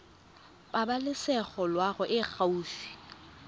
pabalesego loago e e gaufi